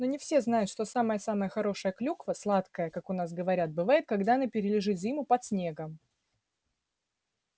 но не все знают что самая-самая хорошая клюква сладкая как у нас говорят бывает когда она перележит зиму под снегом